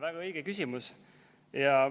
Väga õige küsimus.